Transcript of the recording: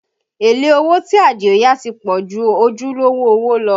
Èlé owó tí Adio yá ti pọ̀ ju ojúlówó owó lọ